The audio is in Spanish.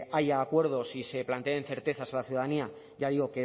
haya acuerdos y se planteen certezas a la ciudadanía ya digo